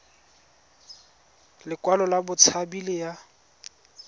lekwalo la botshabi le ya